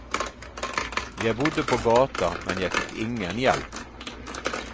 Jeg bodde på gata, men jeg fikk ingen hjelp.